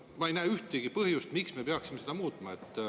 Ma ei näe ühtegi põhjust, miks me peaksime seda muutma.